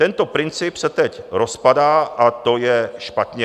Tento princip se teď rozpadá a to je špatně.